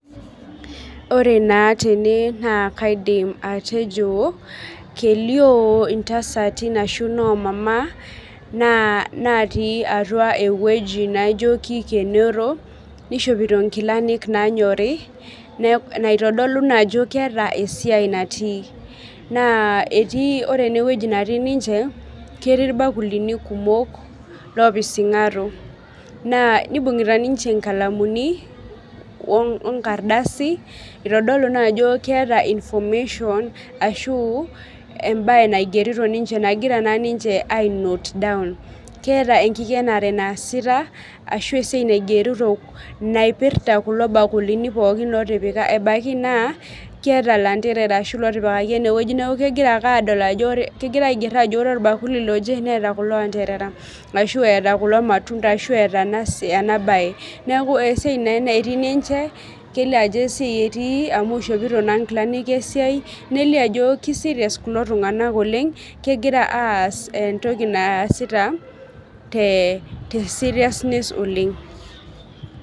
Ore naa tene naa kaidim atejo kelio intasatin ashu inomama naa natii atua ewueji naijo kikenoro nishopito nkilanik nanyori ne naitodolu naa ajo keeta esiai natii naa etii ore ena wueji natii ninche ketii irbakulini kumok lopising'aro naa nibung'ita ninche inkalamuni onkardasi itodolu naa ajo keeta information ashu embaye naigerito naa ninche nagira naa ninche ae note down keeta enkikenare naasita ashu esiai naigerito naipirrta kulo bakulini pookin lotipika ebaiki naa keeta ilanterara ashu lotipikaki enewueji neku kegira ake adol ajo kegira aigerr ajo ore orbakuli loje neeta kulo anterara ashu eeta kulo matunda ashu eeta ena baye neku esiai naa enetii ninche kelio ajo esiai etii amu ishopito naa nkilanik esiai nelio ajo ki serious kulo tung'anak oleng kegira aas entoki naasita te te seriousness oleng.